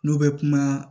N'u bɛ kuma